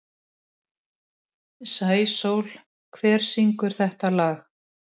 Sæsól, hver syngur þetta lag?